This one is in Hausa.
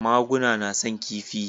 Maguna na son kifi